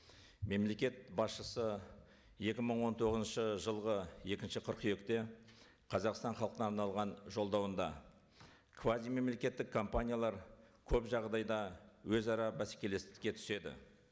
мемлекет басшысы екі мың он тоғызыншы жылғы екінші қыркүйекте қазақстан халқына арналған жолдауында квазимемлекеттік компаниялар көп жағдайда өзара бәсекелестікке түседі